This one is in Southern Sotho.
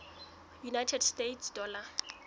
united states dollar